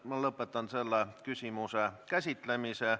Ma lõpetan selle küsimuse käsitlemise.